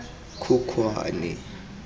khukhwane